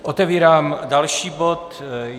Otevírám další bod.